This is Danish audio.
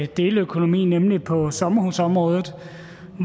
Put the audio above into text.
deleøkonomi nemlig på sommerhusområdet